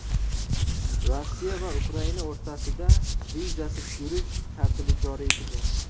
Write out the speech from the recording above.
Rossiya va Ukraina o‘rtasida vizasiz yurish tartibi joriy etilgan.